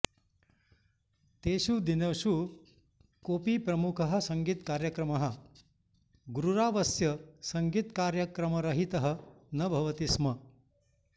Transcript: तेषु दिनेषु कोऽपि प्रमुखः सङ्गीतकार्यक्रमः गुरुरावस्य सङ्गीतकार्यक्रमरहितः न भवति स्म